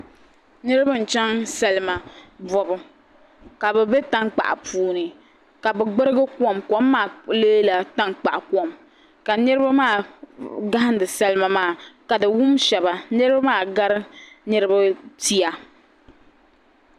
Niriba n-chaŋ salima bɔbu ka bɛ be tankpaɣu puuni ka bɛ gburigi kom kom maa leela tankpaɣu kom ka niriba maa gahindi salima maa ka di wum shɛba niriba maa gari niriba pia.